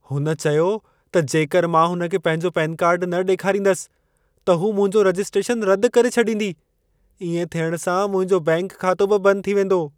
हुन चयो त जेकर मां हुन खे पंहिंजो पेन कार्ड न ॾेखारींदसि, त हू मुंहिंजो रजिस्ट्रेशन रदि करे छॾींदी। इएं थियण सां, मुंहिंजो बैंकि खातो बि बंदि थी वेंदो।